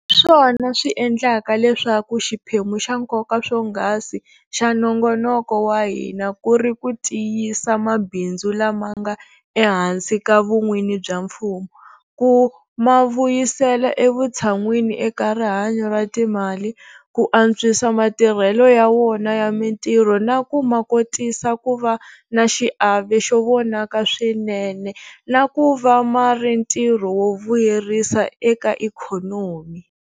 Swona swi endlaka leswaku xiphemu xa nkoka swonghasi xa nongonoko wa hina ku ri ku tiyisa mabindzu lama nga ehansi ka vun'wini bya mfumo, ku ma vuyisela evutshan'wini eka rihanyo ra timali, ku antswisa matirhelo ya wona ya mitirho na ku ma kotisa ku va na xiave xo vonaka swinene na ku va ma ri ntirho wo vuyerisa eka ikhonomi.